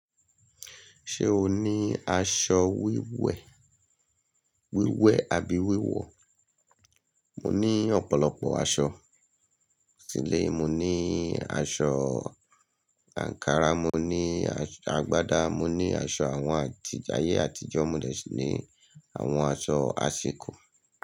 Ṣé o ní aṣọ wíwẹ̀, wíwẹ̀ àbí wíwọ̀? Mo ní ọ̀pọ̀lọpọ̀ aṣọ. Sílé mo ní aṣọ àǹkárá, mo ní aṣọ àgbádá, mo ní aṣọ àwọn àtijẹ, ayé àtijọ́, mo dẹ̀ síi ní àwọn aṣọ àsìkò.